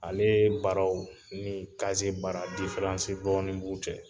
Alee baaraw ni baara , diferansi dɔɔni b'u cɛ.